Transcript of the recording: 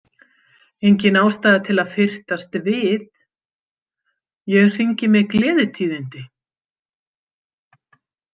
Engin ástæða til að fyrtast við, ég hringi með gleðitíðindi.